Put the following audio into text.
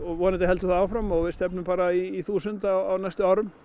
vonandi heldur það áfram og við stefnum bara í þúsund á næstu árum